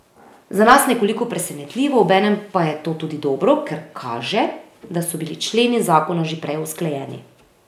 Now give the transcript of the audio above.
Za nas nekoliko presenetljivo, obenem pa je to tudi dobro, ker kaže, da so bili členi zakona že prej usklajeni.